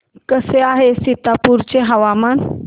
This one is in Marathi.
कसे आहे सीतापुर चे हवामान